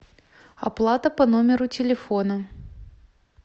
оплата по номеру телефона